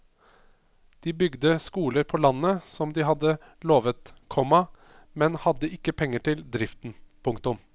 De bygde skoler på landet som de hadde lovet, komma men hadde ikke penger til driften. punktum